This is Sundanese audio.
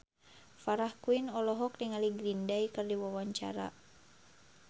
Farah Quinn olohok ningali Green Day keur diwawancara